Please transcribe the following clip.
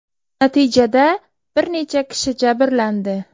Natijada bir necha kishi jabrlandi.